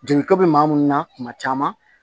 Jeliko bɛ maa minnu na kuma caman